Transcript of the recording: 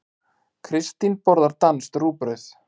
Kristín borðar danskt rúgbrauð.